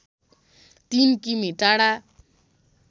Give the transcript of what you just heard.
३ किमि टाढा